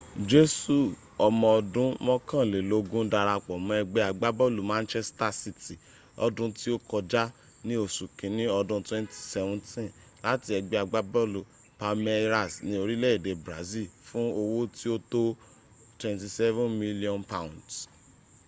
jesu omo odun mokanlelogun darapo mo egbe agbabolu manchester city lodun ti o koja ni osu kinni odun 2017 lati egbe agbabolu palmeiras ni orile ede brazil fun owo ti o to £27 million